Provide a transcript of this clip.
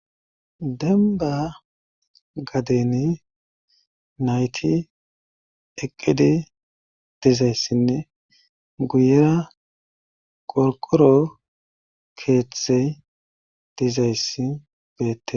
denba gadeni nayti eqqidi dizayssinne guyera qorqoro keeththey dizayss beettes